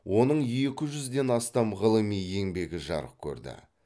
оның екі жүзден астам ғылыми еңбегі жарық көрді